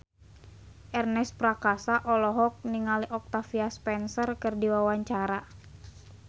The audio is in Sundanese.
Ernest Prakasa olohok ningali Octavia Spencer keur diwawancara